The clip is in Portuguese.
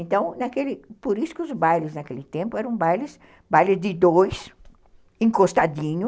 Então, naquele, por isso que os bailes naquele tempo eram bailes de dois, encostadinho.